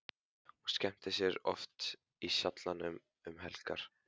Hún skemmtir sér oft í Sjallanum um helgar.